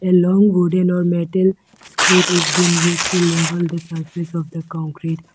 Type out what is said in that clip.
a long wooden or metal screed is being used to level the surface of a concrete.